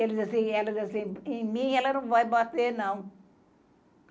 Eles assim, elas assim, em mim ela não vai bater, não.